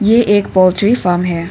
ये एक poultry farm है।